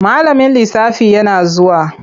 Malamin lisafi yana zuwa.